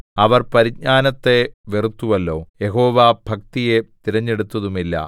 അവർ പരിജ്ഞാനത്തെ വെറുത്തുവല്ലോ യഹോവാഭക്തിയെ തിരഞ്ഞെടുത്തതുമില്ല